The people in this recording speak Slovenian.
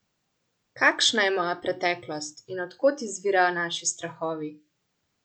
Kakšna je moja preteklost in od kot izvirajo naši strahovi?